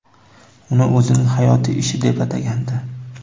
uni o‘zining hayotiy ishi deb atagandi.